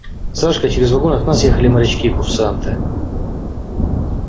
сашка через вагон от нас ехали морячки курсанты